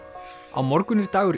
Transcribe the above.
á morgun er dagur